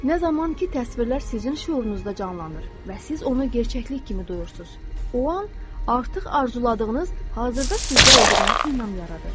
Nə zaman ki, təsvirlər sizin şüurunuzda canlanır və siz onu gerçəklik kimi duyursuz, o an artıq arzuladığınız hazırda sizdə olduğuna inam yaradır.